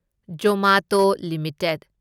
Zomato limited